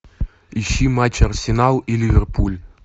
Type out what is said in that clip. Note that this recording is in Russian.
ищи матч арсенал и ливерпуль